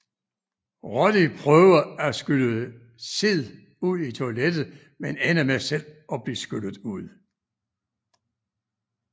Roddy prøver at skylle Sid ud i toilettet men ender med selv at blive skyllet ud